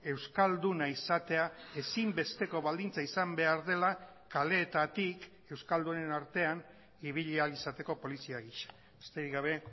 euskalduna izatea ezinbesteko baldintza izan behar dela kaleetatik euskaldunen artean ibili ahal izateko polizia gisa besterik gabe